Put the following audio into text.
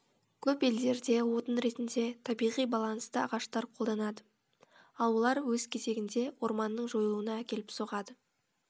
көп елдерде отын ретінде табиғи балансты ағаштар қолданады ал олар өз кезегінде орманның жойылуына әкеліп соғады